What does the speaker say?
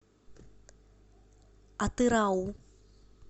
атырау